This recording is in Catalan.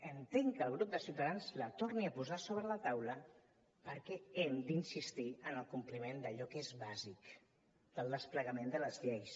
entenc que el grup de ciutadans la torni a posar sobre la taula perquè hem d’insistir en el compliment d’allò que és bàsic del desplegament de les lleis